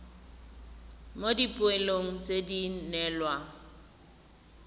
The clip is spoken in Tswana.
mo dipoelong tse di neelwang